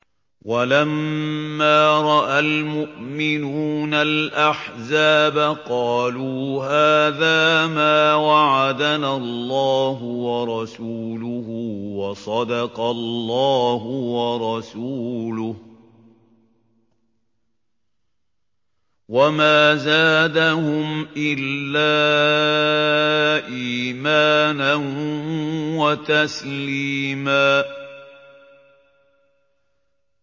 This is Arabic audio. وَلَمَّا رَأَى الْمُؤْمِنُونَ الْأَحْزَابَ قَالُوا هَٰذَا مَا وَعَدَنَا اللَّهُ وَرَسُولُهُ وَصَدَقَ اللَّهُ وَرَسُولُهُ ۚ وَمَا زَادَهُمْ إِلَّا إِيمَانًا وَتَسْلِيمًا